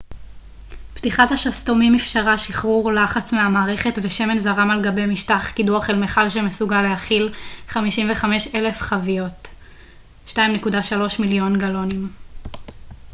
פתיחת השסתומים אפשרה שחרור לחץ מהמערכת ושמן זרם על גבי משטח קידוח אל מיכל שמסוגל להכיל 55,000 חביות 2.3 מיליון גלונים